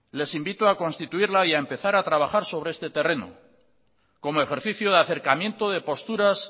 les invito a constituirla y a trabajar sobre este terreno como ejercicio de acercamiento de posturas